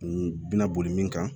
N bɛna boli min kan